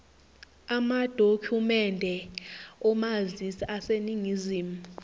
amadokhumende omazisi aseningizimu